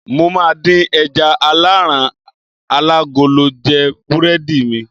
mo ma di eja alaran alagolo je burẹdi mi